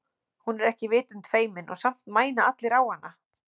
Hún er ekki vitund feimin og samt mæna allir á hana.